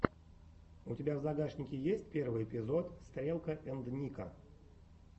у тебя в загашнике есть первый эпизод стрелка энд ника